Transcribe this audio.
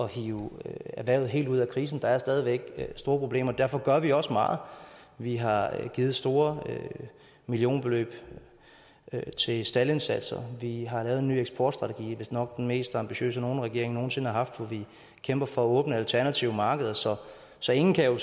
hive erhvervet helt ud af krisen der er stadig væk store problemer derfor gør vi også meget vi har givet store millionbeløb til staldindsatser vi har lavet en ny eksportstrategi vistnok den mest ambitiøse nogen regering nogen sinde har haft hvor vi kæmper for at åbne alternative markeder så så ingen kan jo